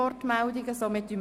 Ist das bestritten?